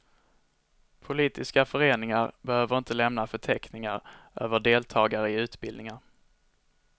Politiska föreningar behöver inte lämna förteckningar över deltagare i utbildningar.